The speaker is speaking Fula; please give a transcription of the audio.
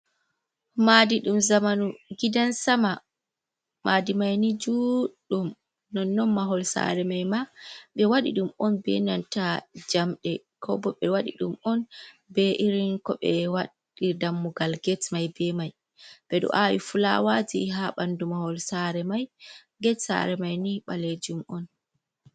Madi ɗum zamanu gidan sama, madi mai ni judɗum non non mahol sare mai ma ɓe waɗi ɗum on be nanta jamɗe, kobo ɓe waɗi ɗum on be irin ko be waɗir dammugal get mai be mai ɓe ɗo awi fulawaji ha bandu mahol, sera get sare mai ni balejum on.